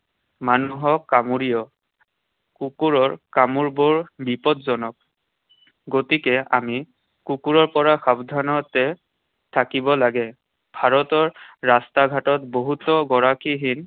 মানুহক কামুৰিও। কুকুৰৰ কামোৰবোৰ বিপদজনক। গতিকে আমি কুকুৰৰ পৰা সাৱধানতে থাকিব লাগে। ভাৰতৰ ৰাস্তা ঘাটত বহুতো গৰাকীহীন